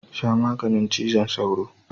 Sha maganin cizon sauron.